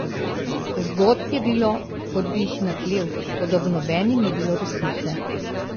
Zgodb je bilo, kot bi jih naklel, toda v nobeni ni bilo resnice.